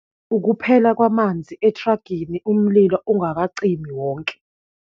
Ukuphela kwamanzi ethragini umlilo ungakacimi wonke.